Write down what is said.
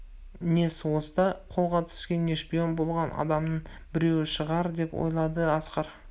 не соғыста қолға түскен не шпион болған адамның біреуі шығар деп ойлады асқар